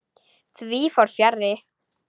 Því fór fjarri.